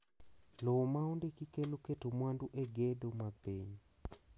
Lowo ma ondiki kelo keto mwandu e gedo mag piny